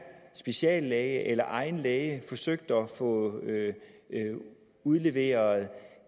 speciallæge eller egen læge har forsøgt at få udleveret